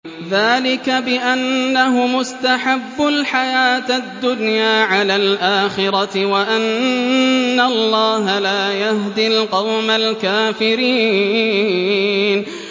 ذَٰلِكَ بِأَنَّهُمُ اسْتَحَبُّوا الْحَيَاةَ الدُّنْيَا عَلَى الْآخِرَةِ وَأَنَّ اللَّهَ لَا يَهْدِي الْقَوْمَ الْكَافِرِينَ